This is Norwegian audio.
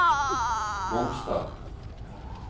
Mongstad